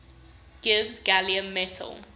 gives gallium metal